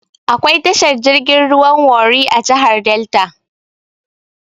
Akwai tashar jirgin ruwan Warri a jihar Delta.